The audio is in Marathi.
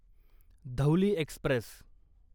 धौली एक्स्प्रेस